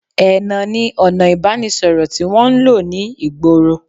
Ẹnà ní ọna ìbánisọ̀rọ̀ tí wọ́n ń lò ní ìgboro